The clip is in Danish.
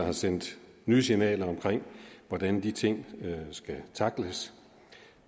har sendt nye signaler om hvordan de ting skal tackles